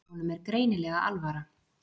Honum er greinilega alvara.